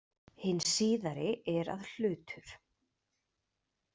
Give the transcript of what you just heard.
Hin síðari er að hlutur.